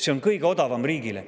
See on kõige odavam riigile.